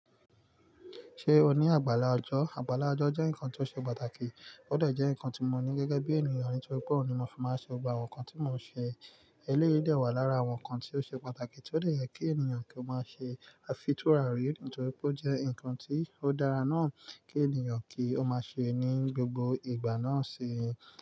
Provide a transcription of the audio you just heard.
Ṣé o ní àgbàlá ọjọ́? Àgbàlá ọjọ́ jẹ́ nǹkan tó ṣe pàtàkì, ó dà jẹ́ nǹkan tí mo ní gẹ́gẹ́ bí ènìyàn nítorí pé òun ni mo fi máa ṣe gbogbo àwọn nǹkan tí mò ń ṣe. Eléyìí de wà lára àwọn nǹkan tí ó ṣe pàtàkì tí ó de yẹ kí ènìyàn kí ó máa ṣe àfiturarí nítorí pé ó jẹ́ nǹkan tí ó dára náà kí ènìyàn kí ó máa ṣe ní gbogbo ìgbà náà ṣii.